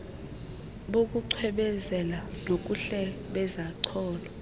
bokucwebezela kobuhle bezacholo